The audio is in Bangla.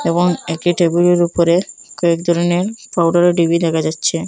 এবং একই টেবিল -এর উপরে কয়েক ধরনের পাউডার -এর ডিবি দেখা যাচ্ছে।